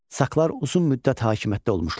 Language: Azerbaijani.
Saklar uzun müddət hakimiyyətdə olmuşlar.